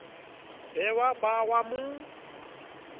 be wa ba wa mo